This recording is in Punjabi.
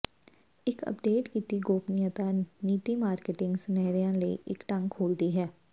ਇੱਕ ਅਪਡੇਟ ਕੀਤੀ ਗੋਪਨੀਯਤਾ ਨੀਤੀ ਮਾਰਕੇਟਿੰਗ ਸੁਨੇਹਿਆਂ ਲਈ ਇੱਕ ਢੰਗ ਖੋਲ੍ਹਦੀ ਹੈ